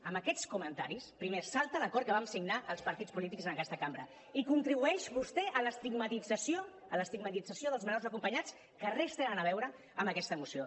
amb aquests comentaris primer es salta l’acord que vam signar els partits polítics en aquesta cambra i contribueix vostè a l’estigmatització dels menors acompanyats que res tenen a veure amb aquesta moció